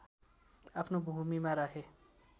आफ्नो भूमीमा राखे